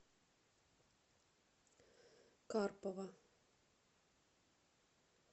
карпова